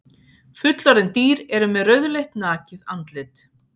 Fullorðin dýr eru með rauðleitt nakið andlit.